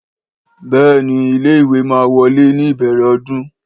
béèni ilé ìwé máa wolè ní ìbèrè ọdún